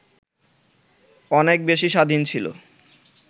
অনেক বেশি স্বাধীন ছিল